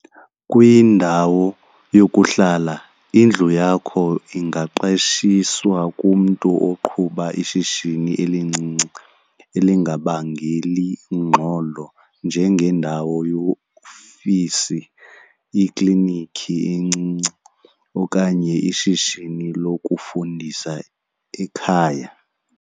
Kwindawo yokuhlala, indlu yakho ingaqeshiswa kumntu oqhuba ishishini elincinci elingabangeli ngxolo njengeendawo yeofisi, iklinikhi encinci okanye ishishini lokufundisa ekhaya.